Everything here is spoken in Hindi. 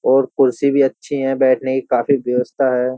और कुर्सी भी अच्छी है बैठने की काफी व्यवस्था है।